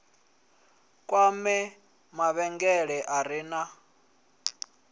kwame mavhengele a re na